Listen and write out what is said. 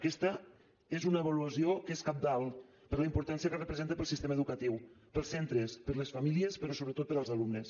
aquesta és una avaluació que és cabdal per la importància que representa per al sistema educatiu per als centres per a les famílies però sobretot per als alumnes